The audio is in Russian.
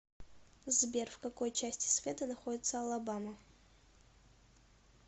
сбер в какой части света находится алабама